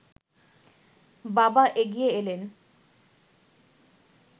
বাবা এগিয়ে এলেন